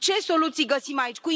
Ce soluții găsim aici?